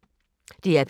DR P3